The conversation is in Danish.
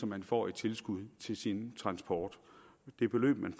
man får i tilskud til sin transport det beløb man